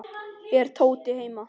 Er Tóti heima?